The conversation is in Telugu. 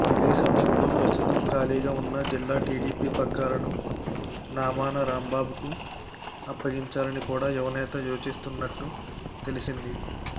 ఇదే సమయంలో ప్రస్తుతం ఖాళీగా ఉన్న జిల్లా టీడీపీ పగ్గాలను నామన రాంబాబుకు అప్పగించాలని కూడా యువనేత యోచిస్తున్నట్టు తెలిసింది